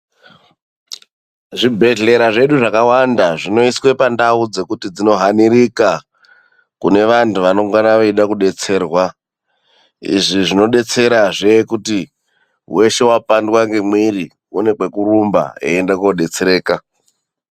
Zvibhedhlera zvedu zvakawanda zvinoiswe pandau dzekuti dzinohanirika kunevantu vanongana veide kudetserwa. Izvi zvinodetserazve kuti weshe wapandwa ngemwiri, une kwekurumba eiende koodetsereka.